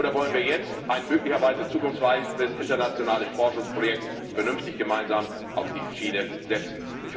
Oder wollen wir jetzt ein möglicherweise zukunftsweisendes internationales Forschungsprojekt vernünftig gemeinsam auf die Schiene setzen?